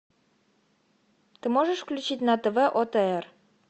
ты можешь включить на тв отр